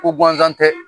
Ko gansan tɛ